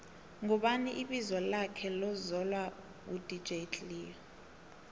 ngubani ibizo lakhe lokvzalwa u dj cleo